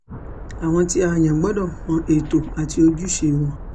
àwọn tí a yàn gbọ́dọ̀ mọ ètò àti ojúṣe wọn